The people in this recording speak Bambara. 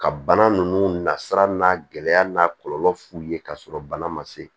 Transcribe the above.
Ka bana ninnu nasira n'a gɛlɛya n'a kɔlɔlɔ f'u ye k'a sɔrɔ bana ma se